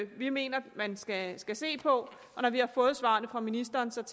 vi mener at man skal skal se på og når vi har fået svarene fra ministeren tager